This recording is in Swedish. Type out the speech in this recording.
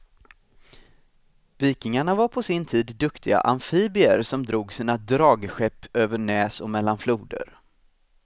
Vikingarna var på sin tid duktiga amfibier, som drog sina dragskepp över näs och mellan floder.